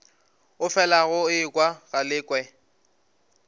o felago o ekwa galekwe